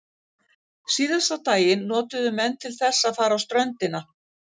Síðasta daginn notuðu menn til þess að fara á ströndina.